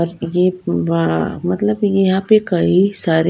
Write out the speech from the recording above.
और ये अः मतलब यहां पे कई सारे--